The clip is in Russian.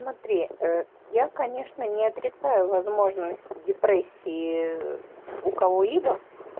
смотри я конечно не отрицаю возможность депрессии у кого-либо